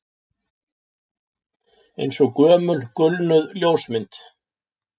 Eins og gömul gulnuð ljósmynd